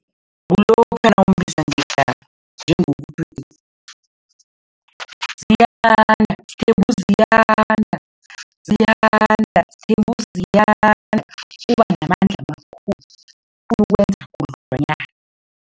Kukulokha nawumbiza ngegama njengokuthi, Ziyanda, sithembe uZiyanda Ziyanda sithembe uZiyanda. Uba namandla amakhulu khudlwanyana.